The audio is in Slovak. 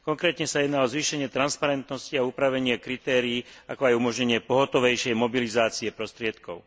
Konkrétne ide o zvýšenie transparentnosti a upravenie kritérií, ako aj umožnenie pohotovejšej mobilizácie prostriedkov.